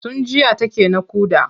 Tun jiya take naƙuda.